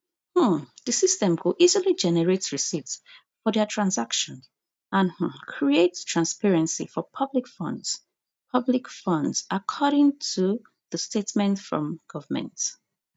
um di system go easily generate receipt for dia transaction and um create transparency for public funds public funds according to di statement from government